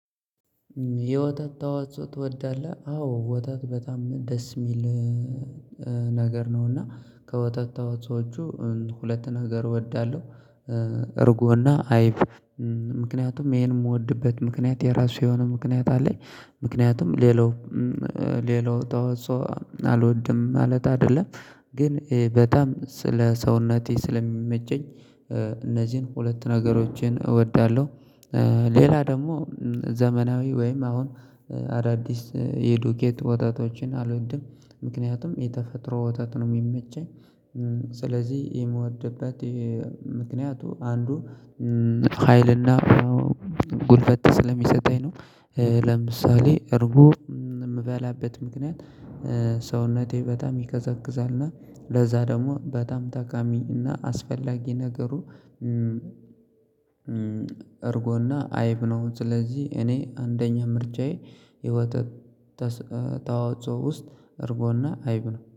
የወተት ተዋጽኦ ትወዳለህ። አዎ ወተት በጣም ደስ የሚል ነገር ነው እና ከወተት ተዋጽኦዎቹ ሁለት ነገር እወዳለሁ እርጎና አይብ ምክንያቱም ይሄን የምወድበት ምክንያት የራሱ የሆነ ምክንያት አለኝ ምክንያቱም ሌላው ሌላው ተዋጽኦ አልወድም ማለት አይደለም ግን በጣም ለሰውነቴ ስለሚመቸኝ እነዚህን ሁለት ነገሮችን አወዳለሁ ሌላ ደግሞ ዘመናዊ ወይም አሁን አዳዲስ የዱቄት ወተቶችን አልወድም ምክንያቱም የተፈጥሮ ወተት ነው የሚመቸኝ ስለዚህ የምወድበት ምክንያት አንዱ ሀይልና ጉልበት ስለሚሰጠኝ ነው። ለምሳሌ እርጎ የምበላበት ምክንያት ሰውነቴ በጣም ይቀዘቅዛል እና ለዛ ደግሞ በጣም ጠቃሚ እና አስፈላጊ ነገሩ እርጎ እና አይብ ነው ስለዚህ እኔ አንደኛ ምርጫዬ የወተት ተስ ተዋጽአ ውስጥ እርጎ እና አይብ ነው።